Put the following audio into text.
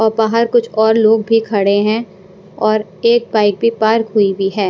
और बाहर कुछ और लोग भी खड़े हैं और एक बाइक भी पार्क हुई हुई है।